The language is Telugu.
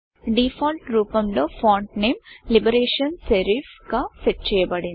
డిఫాల్ట్ రూపం లో ఫాంట్ నేమ్ లిబరేషన్ Serifలిబరేషన్ సెరిఫ్ గా సెట్ చేయబడింది